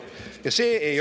Aitäh!